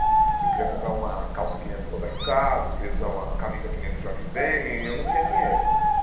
Eu queria comprar uma calça que nem a do Roberto Carlos, eu queria usar uma camisa que nem a do Jorge Ben e eu não tinha dinheiro.